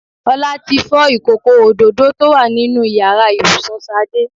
Ọlá tí fọ́ ìkòkò òdòdó tó wà nínú Ìyàrá ibùsùn Ṣadé